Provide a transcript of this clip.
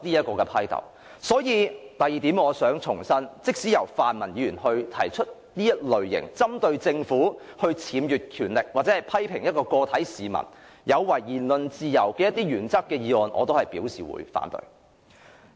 故此，我想強調的第二點是，對於即使由泛民議員提出此類針對政府僭越權力，或批評個別市民有違言論自由的議案，我也會表示反對。